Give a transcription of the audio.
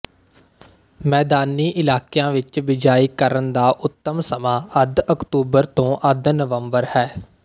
ਮੈਦਾਨੀ ਇਲਾਕਿਆ ਵਿੱਚ ਬਿਜਾਈ ਕਰਨ ਦਾ ਉੱਤਮ ਸਮਾਂ ਅੱਧ ਅਕਤੂਬਰ ਤੋਂ ਅੱਧ ਨਵੰਬਰ ਹੈ